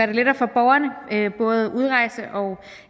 det lettere for borgerne både at udrejse og